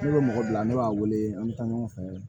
Ne bɛ mɔgɔ bila ne b'a wele an bɛ taa ɲɔgɔn fɛ